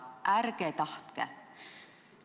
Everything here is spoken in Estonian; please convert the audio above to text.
Ärge tahtke!